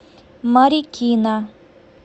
марикина